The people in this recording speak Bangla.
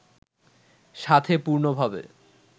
সাথে পূর্ণভাবে